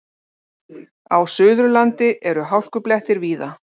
Á Suðurlandi eru hálkublettir víða